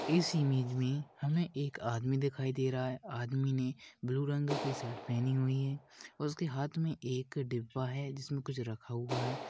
इस इमेज मई हमे एक आदमी दिखाई दे रहा है। आदमी ने ब्लू रंग की शर्ट पहनी हुए है और उसके हाथ मई एक डिब्बा है। जिसमे कुछ रखा हुआ है।